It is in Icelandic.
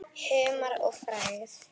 Humar og frægð?